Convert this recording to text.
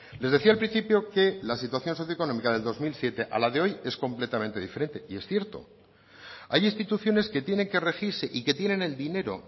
les decía al principio que la situación socio económica del dos mil siete a la de hoy es completamente diferente y es cierto hay instituciones que tienen que regirse y que tienen el dinero